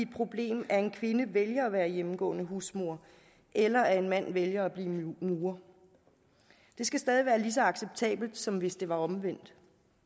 problem at en kvinde vælger at være hjemmegående husmor eller at en mand vælger at blive murer det skal stadig være lige så acceptabelt som hvis det var omvendt